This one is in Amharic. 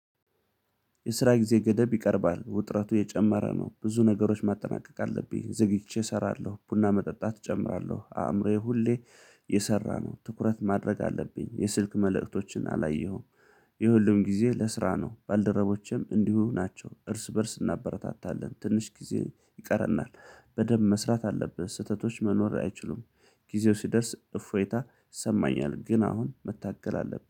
የስራ ጊዜ ገደብ ይቀርባል ውጥረቱ የጨመረ ነው። ብዙ ነገሮች ማጠናቀቅ አለብኝ ዘግይቼ እሰራለሁ ቡና መጠጣት እጨምራለሁ አእምሮዬ ሁሌ። የሰራ ነው ትኩረት ማድረግ አለብኝ የስልክ መልእክቶችን አላየሁም። ይህ ሁሉም ጊዜ ለስራ ነው። ባልደረቦቼም እንዲሁ ናቸው እርስ በእርስ እናበረታታለን ትንሽ ጊዜ ይቀረናል። በደንብ መስራት አለብህ ስህተቶች መኖር አይችሉም። ጊዜው ሲደርስ እፎይታ ይሰማኛል። ግን አሁን መታገል አለብኝ